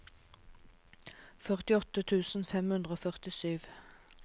førtiåtte tusen fem hundre og førtisju